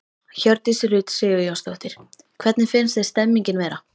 Hjördís Rut Sigurjónsdóttir: Hvernig finnst þér stemningin vera?